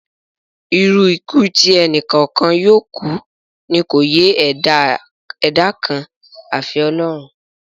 Irú ikú tí ẹni kọ̀ọ̀kan yóò kú ni kò yé ẹ̀dá kan àfi Ọlọ́run